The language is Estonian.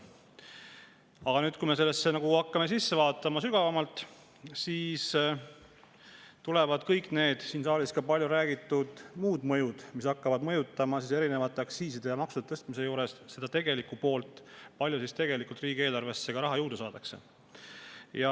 Aga nüüd, kui me hakkame sellesse sügavamale sisse vaatama, siis tulevad kõik need siin saalis ka palju räägitud muud mõjud, mis hakkavad aktsiiside ja maksude tõstmise juures mõjutama tegelikku poolt ja seda, kui palju tegelikult riigieelarvesse raha juurde saadakse.